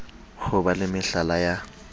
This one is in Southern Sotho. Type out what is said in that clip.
ho ba le mehala ya